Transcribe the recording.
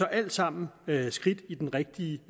alt sammen skridt i den rigtige